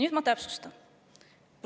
Nüüd ma täpsustan.